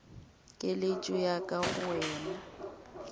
keletšo ya ka go wena